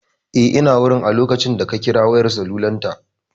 Eh ina wurin a lokacin da ka kira wayar salular ta